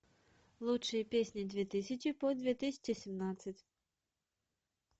лучшие песни две тысячи по две тысячи семнадцать